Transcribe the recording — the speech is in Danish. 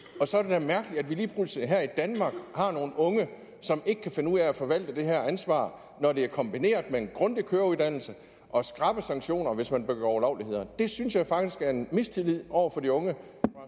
og så er det da mærkeligt at vi lige pludselig her i danmark har nogle unge som ikke kan finde ud af at forvalte det her ansvar når det er kombineret med en grundig køreuddannelse og skrappe sanktioner hvis man begår ulovligheder det synes jeg faktisk er en mistillid over for de unge